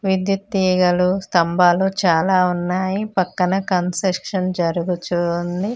విద్యుత్ తీగలు స్తంభాలు చాలా ఉన్నాయి పక్కన కన్సక్షన్ జరుగుచూ ఉంది.